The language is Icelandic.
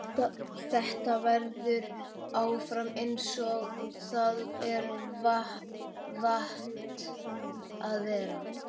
Þetta verður áfram einsog það er vant að vera.